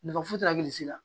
Nafa foyi t'a la hakilisi la